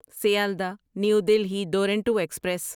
Sealdah new Delhi Duronto express